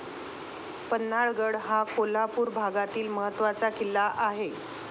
पन्हाळागड हा कोल्हापूर भागातील महत्वाचा किल्ला आहे.